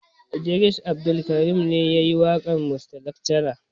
Idris Abdulkarim ne yayi waƙar mista lakcara.